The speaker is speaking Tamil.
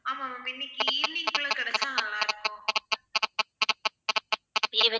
ஆமா ma'am இன்னைக்கு evening போல கிடைச்சா நல்லா இருக்கும்